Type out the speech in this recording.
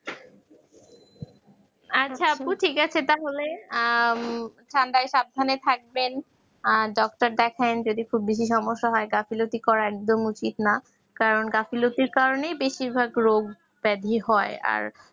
আচ্ছা আপু ঠিক আছে তাহলে ঠান্ডায় সাবধানে থাকবেন আর ডাক্তার দেখান যদি খুব বেশি সমস্যা হয় তাহলে গাফেলতি করা একদম উচিত নয় কারণ গাফেলের কারণে বেশিরভাগ রোগ হয়